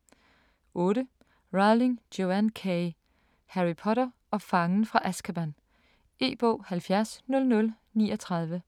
8. Rowling, Joanne K.: Harry Potter og fangen fra Azkaban E-bog 700039